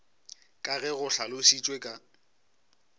ka ge go hlalošitšwe ka